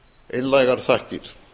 einlægar þakkir